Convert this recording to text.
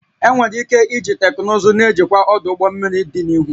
Enwere ike iji teknụzụ na-ejikwa ọdụ ụgbọ mmiri dị n'ihu